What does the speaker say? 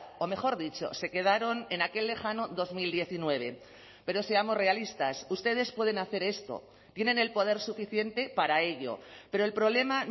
o mejor dicho se quedaron en aquel lejano dos mil diecinueve pero seamos realistas ustedes pueden hacer esto tienen el poder suficiente para ello pero el problema